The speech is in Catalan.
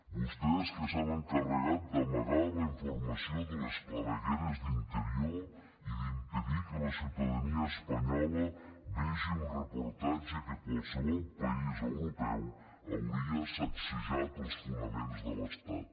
vostès que s’han encarregat d’amagar la informació de les clavegueres d’interior i d’impedir que la ciutadania espanyola vegi un reportatge que a qualsevol país europeu hauria sacsejat els fonaments de l’estat